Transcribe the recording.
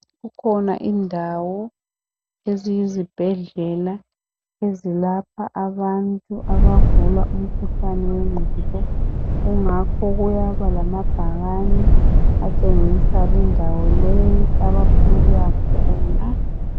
Kukhona indawo eziyizibhedlela ezilapha abantu abagula umkhuhlane wengqondo kungakho kuyaba lamabhakane atshengisa lindawo le kwabafuna ukuyakhona.